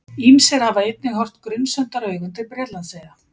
Ýmsir hafa einnig horft grunsemdaraugum til Bretlandseyja.